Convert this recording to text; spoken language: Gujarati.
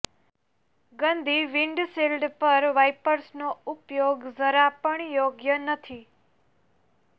ગંદી વિન્ડશીલ્ડ પર વાઈપર્સનો ઉપયોગ જરા પણ યોગ્ય નથી